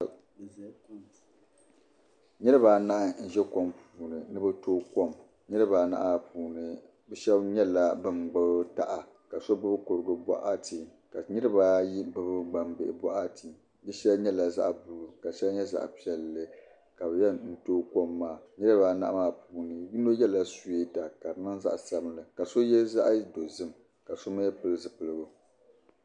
Niraba anahi n bɛ kom puuni ni bi tooi kom niraba anahi maa puuni bi shab nyɛla bin gbubi taha ka shab mii gbubi kurugu boɣati ka niraba ayi gbubi gbambihi boɣati di shɛli nyɛla zaɣ buluu ka shɛli nyɛ zaɣ piɛlli ka bi yɛn tooi kom maa niraba anahi maa puuni yino yɛla suyeeta ka di niŋ zaɣ sabinli ka so yɛ zaɣ dozim ka so mii pili zipiligu